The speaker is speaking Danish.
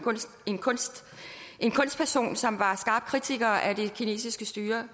kunstperson som var en skarp kritiker af det kinesiske styre